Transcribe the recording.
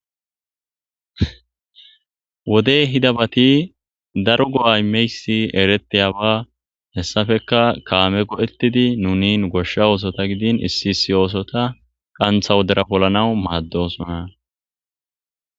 Wodey hida bati daro go'aymeysi ereteyaba hessafeka kaame godhettidi nuni goshsha oosota gidin issi issi oosota qantha wodera polanaw maaddosona.